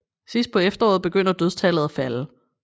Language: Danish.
Sidst på efteråret begyndte dødstallet at falde